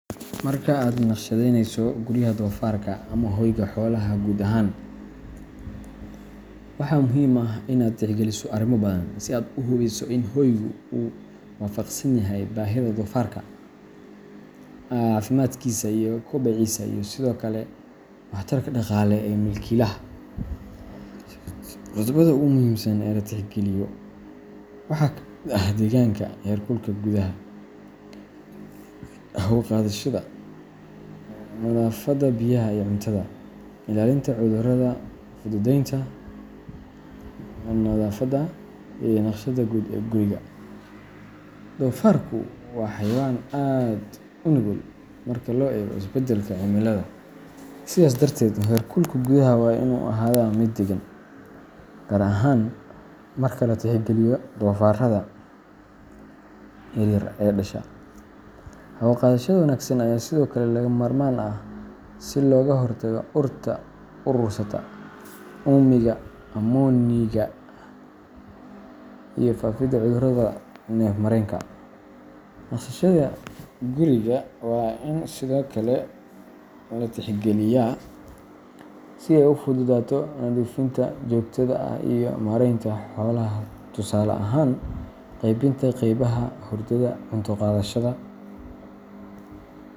Marka aad u naqshadeeynayso guryaha doofarka ama hoyga xoolaha guud ahaan, waxaa muhiim ah in aad tixgeliso arrimo badan si aad u hubiso in hoygu uu waafaqsan yahay baahida doofarka, caafimaadkiisa, kobociisa, iyo sidoo kale waxtarka dhaqaale ee milkiilaha. Qodobada ugu muhiimsan ee la tixgeliyo waxaa ka mid ah deegaanka, heerkulka gudaha, hawo-qaadashada, nadaafadda, biyaha iyo cuntada, ilaalinta cudurrada, fududeynta nadaafadda, iyo naqshadda guud ee guriga. Doofarku waa xayawaan aad u nugul marka loo eego isbedbedelka cimilada, sidaas darteed heerkulka gudaha waa inuu ahaadaa mid deggan, gaar ahaan marka la tixgeliyo doofarrada yaryar ee dhasha. Hawo-qaadashada wanaagsan ayaa sidoo kale lagama maarmaan ah si looga hortago urta urursata, uumiga ammoniga, iyo faafidda cudurrada neef-mareenka. Naqshadda guriga waa in sidoo kale la tixgeliyaa si ay u fududaato nadiifinta joogtada ah iyo maaraynta xoolaha – tusaale ahaan, qeybinta qeybaha hurdada, cunto-qaadashada.